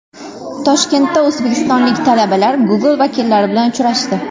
Toshkentda o‘zbekistonlik talabalar Google vakillari bilan uchrashdi.